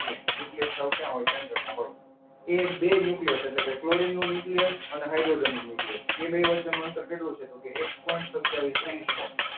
Nucleus ક્યાં હોય સેન્ટરમાં હોય. એ બે ન્યુક્લિયસ. એટલે કે ક્લોરીનનો ન્યુક્લિયસ અને એક હાઈડ્રોજન નો ન્યુક્લિયસ. એ બે વચ્ચેનું અંતર કેટલું છે? તો કે એક પોઇન્ટ સત્તાવીસ એંગસ્ટ્રોમ.